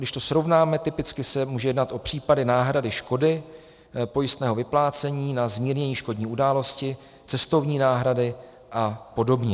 Když to srovnáme, typicky se může jednat o případy náhrady škody pojistného vyplácení na zmírnění škodní události, cestovní náhrady a podobně.